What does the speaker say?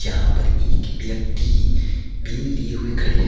यहां पर एक व्यक्ति पेन लिए हुए खड़े हैं।